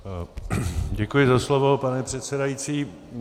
Děkuji za slovo, pane předsedající.